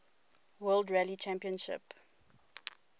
world rally championship